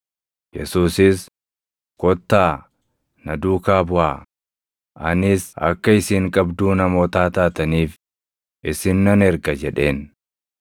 Yesuusis, “Kottaa, na duukaa buʼaa; anis akka isin qabduu namootaa taataniif isin nan erga” jedheen.